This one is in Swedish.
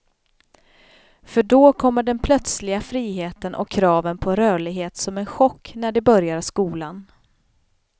För då kommer den plötsliga friheten och kraven på rörlighet som en chock när de börjar skolan.